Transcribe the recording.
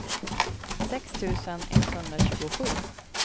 sex tusen etthundratjugosju